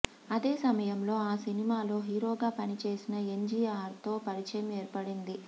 అదే సమయంలో ఆ సినిమాలో హీరోగా పనిచేసిన ఎంజీఆర్తో పరిచయం ఏర్పడింది